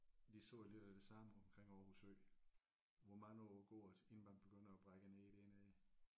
De sagde lidt af det samme omkring Aarhus Ø. Hvor mange år går der inden man begynder at brække ned dernede